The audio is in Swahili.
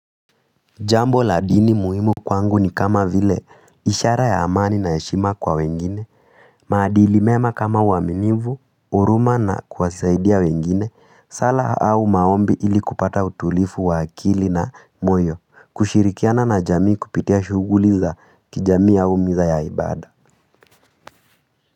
Jambo la dini muhimu kwangu ni kama vile ishara ya amani na heshima kwa wengine, maadili mema kama uaminifu, huruma na kuwasaidia wengine, sala au maombi ili kupata utulivu wa akili na moyo, kushirikiana na jamii kupitia shughuli za kijamii au misa ya ibada.